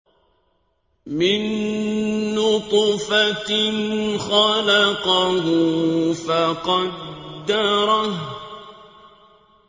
مِن نُّطْفَةٍ خَلَقَهُ فَقَدَّرَهُ